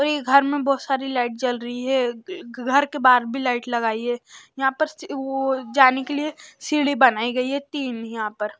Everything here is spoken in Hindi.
और ये घर में बहुत सारी लाइट चल रही है घर के बाहर भी लाइट लगाई है यहां पर जाने के लिए सीढ़ी बनाई गई है यहां पर--